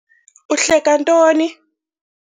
Uhleka ntoni?